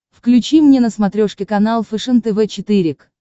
включи мне на смотрешке канал фэшен тв четыре к